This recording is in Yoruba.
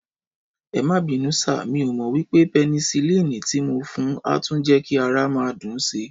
Ẹmá bínú sà, mí ọ mo wípé penicilini ti mo fún a tún je ki ara máa dùn sii